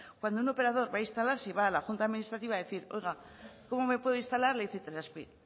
cuando un operador va a instalarse y va a la junta administrativa a decir oiga cómo me puedo instalar le dice itelazpi